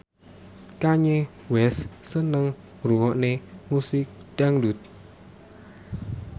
Kanye West seneng ngrungokne musik dangdut